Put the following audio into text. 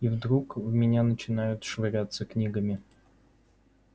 и вдруг в меня начинают швыряться книгами